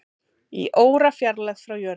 Í órafjarlægð frá jörðinni